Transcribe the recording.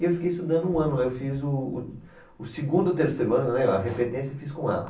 E eu fiquei estudando um ano lá, eu fiz o o, o segundo e o terceiro ano, né, a repetência eu fiz com ela.